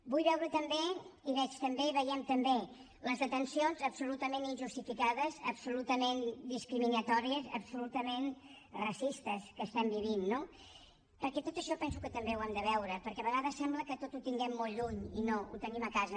vull veure també i veig també veiem també les detencions absolutament injustificades absolutament discriminatòries absolutament racistes que estem vivint no perquè tot això penso que també ho hem de veure perquè a vegades sembla que tot ho tinguem molt lluny i no ho tenim a casa